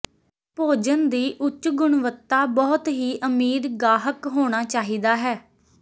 ਭੋਜਨ ਦੀ ਉੱਚ ਗੁਣਵੱਤਾ ਬਹੁਤ ਹੀ ਅਮੀਰ ਗਾਹਕ ਹੋਣਾ ਚਾਹੀਦਾ ਹੈ